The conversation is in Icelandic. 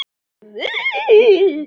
Alls ekki fyrsta mars!